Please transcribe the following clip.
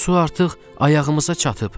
Su artıq ayağımıza çatıb.